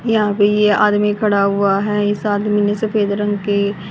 यहां पे ये आदमी खड़ा हुआ हैं। इस आदमी ने सफेद रंग के--